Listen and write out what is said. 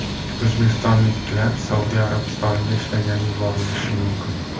O‘zbekistonliklar Saudiya Arabistoniga ishlagani yuborilishi mumkin.